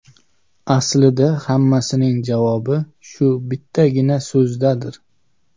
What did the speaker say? Aslida hammasining javobi shu bittagina so‘zdadir.